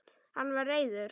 Hann var reiður.